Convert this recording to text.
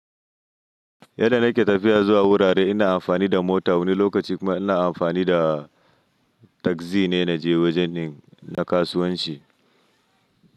Yadda nake tafiya zuwa wurare ina amfani da mota wani lokaci kuma ina amfani da tagzi ne na je wajenin na kasuwanci.